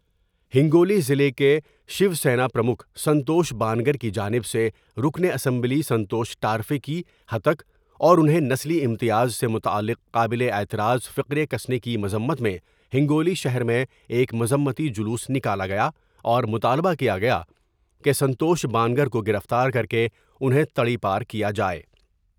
ہنگو لی ضلع کے شیوسینا پرمکھ سنتوش بانگر کی جانب سے رکن اسمبلی سنتوش ٹارفے کی ہتک اور انہیں نسلی امتیاز سے متعلق قابل اعتراض فقرےکسنے کی مذمت میں ہنگو لی شہر میں ایک مذمتی جلوس نکالا گیا اور مطالبہ کیا گیا کہ سنتوش با نگر کو گرفتار کر کے انہیں تڑی پارکیا جائے ۔